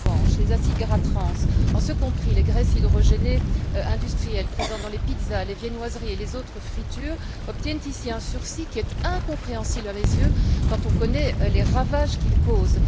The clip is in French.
En revanche, les acides gras trans, en ce compris les graisses hydrogénées industrielles présentes dans les pizzas, les viennoiseries et les autres fritures, obtiennent ici un sursis qui est incompréhensible à mes yeux, quand on connaît les ravages qu'ils causent.